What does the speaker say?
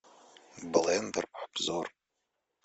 блендер обзор